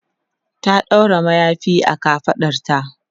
ta ɗaura mayafi a kafaɗarta